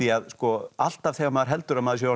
alltaf þegar maður heldur að maður sé orðinn